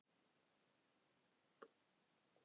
Fylgdist þú vel með í mars?